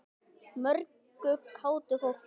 Mörgu kátu fólki.